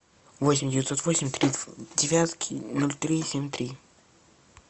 восемь девятьсот восемь три девятки ноль три семь три